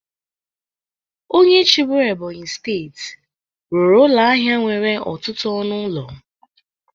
Onye chịburu Ebonyi steeti rụrụ ụlọ ahịa nwere ọtụtụ ọnụ ụlọ.